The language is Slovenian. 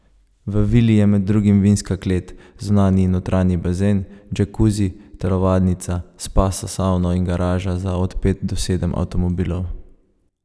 V vili je med drugim vinska klet, zunanji in notranji bazen, džakuzi, telovadnica, spa s savno in garaža za od pet do sedem avtomobilov.